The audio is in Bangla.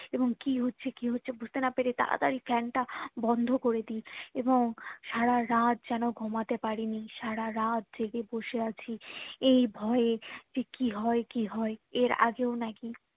এবং কি হচ্ছে কি হচ্ছে বুঝতে না পেরে তাড়াতাড়ি fan তা বন্ধ করে দি এবং সারা রাত যেন ঘুমোতে পারিনি সারা রাত জেগে বসে আছি এই ভয়ে যে কি হয়ে কি হয়ে এর আগেও নাকি